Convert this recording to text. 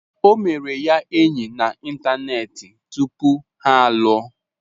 O mere ya enyi na ịntanetị tupu ha alụọ.